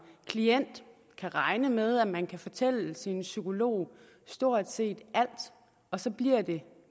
klient kan regne med at man kan fortælle sin psykolog stort set alt og så bliver det